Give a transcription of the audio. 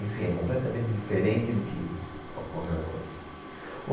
Enfim, é completamente diferente do que ocorre lá hoje.